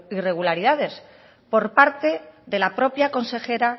irregularidades por parte de la propia consejera